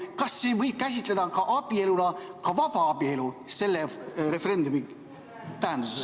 Kas selle referendumi tähenduses võib abieluna käsitleda ka vabaabielu?